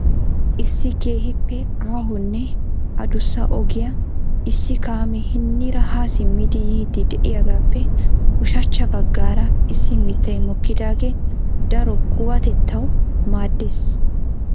Issi keehippe aahonne addussa ogiyaa issi kaame hiniira ha simmidi yiidi de'iyaagappe ushachcha baggaara issi mittay mokkidaagee daro kuwaatettaw maaddees.